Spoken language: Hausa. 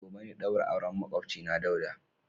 Gobe ne daurin auren makwabcina Dauda.